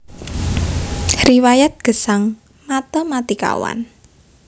Riwayat Gesang Matématikawan